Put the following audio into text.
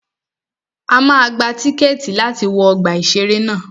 A máa gba tíkẹ̀tì wa láti wọ ọgbà ìṣẹ̀rẹ́ ná.